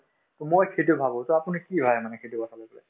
to মই সেইটো ভাবো so আপুনি কি ভাবে মানে সেইটো কথা লৈ পেলায়